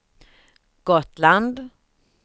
Gotland